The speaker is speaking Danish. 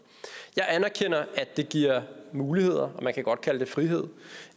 jeg anerkender at det giver muligheder og man kan godt kalde det frihed